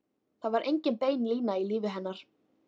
Það var engin bein lína í lífi hennar.